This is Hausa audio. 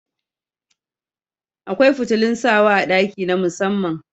Akwai fitilun sawa a ɗaki na musamman